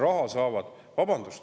Vabandust!